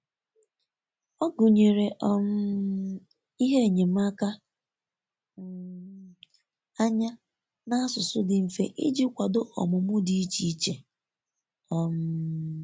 ọ gụnyere um ihe enyemaka um anya na asụsụ di mfe ịjị kwado ọmumụ di iche iche. um